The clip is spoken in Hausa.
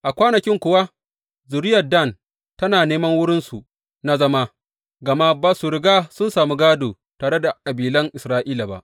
A kwanakin kuwa zuriyar Dan tana neman wurinsu na zama, gama ba su riga sun sami gādo tare da kabilan Isra’ila ba.